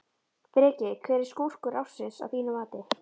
Breki: Hver er skúrkur ársins að þínu mati?